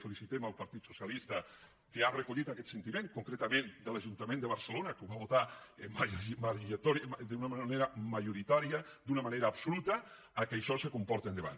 felicitem el partit socialista que ha recollit aquest sentiment concretament de l’ajuntament de barcelona que ho va votar d’una manera majoritària d’una manera absoluta que això se porte endavant